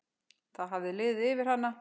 Það hafði liðið yfir hana.